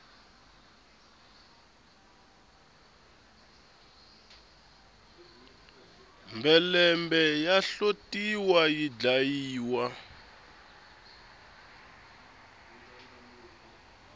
mhelembe ya hlotiwa yi dlayiwa